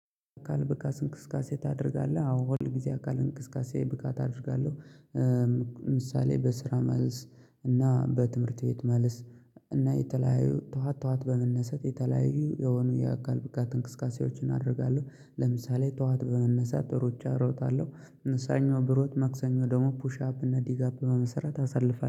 አካል ብቃት እንቅስቃሴ ታደርጋለህ አዎ ሁል ጊዜ አካል እንቅስቃሴ ብቃት አደርጋለሁ። ምሳሌ በስራ መልስ እና በትምህርት ቤት መልስ። እና የተለያዩ ጠዋት ጠዋት በመነሰት የተለያዩ የሆኑ የአካል ብቃት እንቅስቃሴዎችን አደርጋለሁ። ለምሳሌ ጠዋት በመነሳት ሩጫ እሮጣለሁ። ሰኞ ብሮጥ ማክሰኞ ደግሞ ፑሽ አፕ እና ዲጋፕ በመስራት አሳልፋለሁ